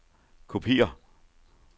kopiér